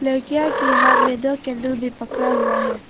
लड़कियों के हाथ में दो कैंडल भी पकड़ा हुआ है।